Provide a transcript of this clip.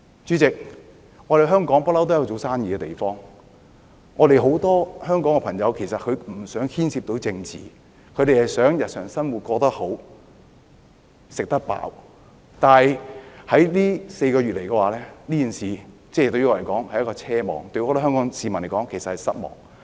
主席，香港一向都是做生意的好地方，很多香港人都不想牽涉到政治，他們想日常生活過得好、吃得飽，但是，這4個月以來，這件事對我來說，是一個奢望，對很多香港市民來說，其實是失望。